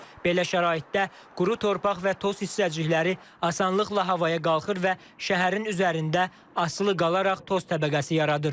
Belə şəraitdə quru torpaq və toz hissəcikləri asanlıqla havaya qalxır və şəhərin üzərində asılı qalaraq toz təbəqəsi yaradır.